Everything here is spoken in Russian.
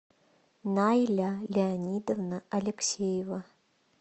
найля леонидовна алексеева